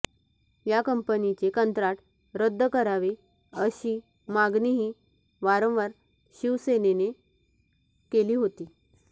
या कंपनीचे कंत्राट रद्द करावे अशी मागणीही वारंवार शिवसेनेने केली होती